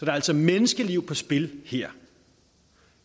er altså menneskeliv på spil her